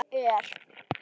Þó er.